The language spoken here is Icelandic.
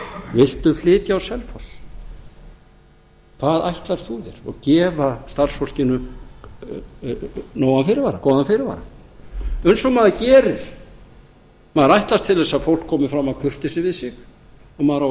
viltu flytja á selfoss hvað ætlar þú þér og gefa starfsfólkinu nógan fyrirvara góðan fyrirvara eins og maður gerir maður ætlast til þess að fólk komi fram af kurteisi við sig og maður á að